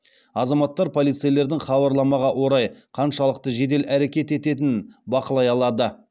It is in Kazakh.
азаматтар полицейлердің хабарламаға орай қаншалықты жедел әрекет ететінін бақылай алады